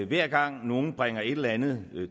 hver gang nogen bringer et eller andet